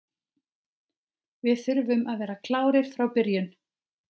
Við þurfum að vera klárir frá byrjun.